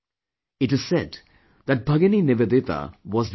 It is said that Bhagini Nivedita was the inspiration